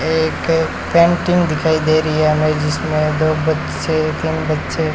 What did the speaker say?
एक पेंटिंग दिखाई दे रही है हमें जिसमें दो बच्चे तीन बच्चे--